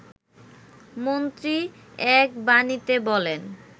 মন্ত্রী এক বাণীতে বলেন